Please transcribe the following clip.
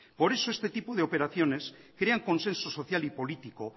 por eso este tipo de operaciones crean consenso social y político